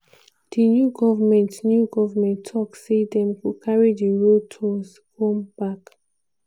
di new goment new goment tok say dem go carry di road tolls come back.